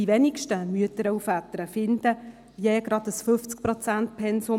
Die wenigsten Mütter und Väter finden je ein 50-Prozent-Pensum.